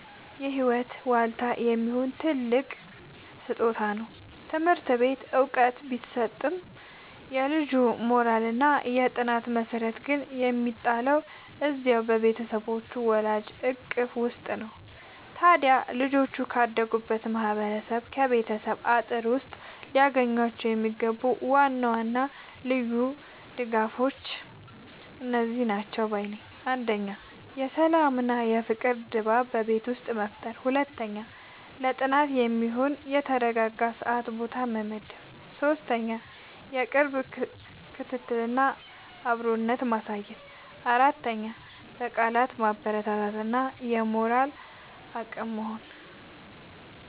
የህይወት ዋልታ የሚሆን ትልቅ ስጦታ ነው! ትምህርት ቤት ዕውቀት ቢሰጥም፣ የልጁ የሞራልና የጥናት መሠረት ግን የሚጣለው እዚያው በቤቱ በወላጆቹ እቅፍ ውስጥ ነው። ታዲያ ልጆች ካደጉበት ማህበረሰብና ከቤተሰብ አጥር ውስጥ ሊያገኟቸው የሚገቡ ዋና ዋና ልዩ ድጋፎች እነዚህ ናቸው ባይ ነኝ፦ 1. የሰላምና የፍቅር ድባብ በቤት ውስጥ መፍጠር 2. ለጥናት የሚሆን የተረጋጋ ሰዓትና ቦታ መመደብ 3. የቅርብ ክትትልና አብሮነት ማሳየት 4. በቃላት ማበረታታት እና የሞራል አቅም መሆን